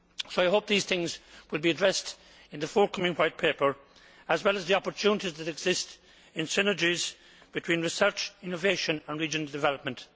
I hope these things will be addressed in the forthcoming White Paper, as well as the opportunities that exist in synergies between research, innovation and regional development.